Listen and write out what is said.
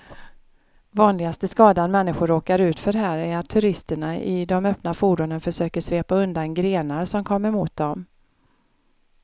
Vanligaste skadan människor råkar ut för här är att turisterna i de öppna fordonen försöker svepa undan grenar som kommer mot dem.